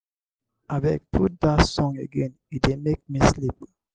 abeg put dat song again e dey make me sleep.